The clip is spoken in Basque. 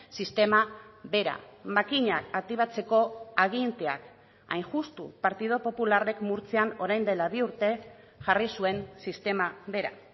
sistema bera makinak aktibatzeko aginteak hain justu partidu popularrek murtzian orain dela bi urte jarri zuen sistema bera